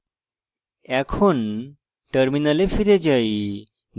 এখন terminal ফিরে যাই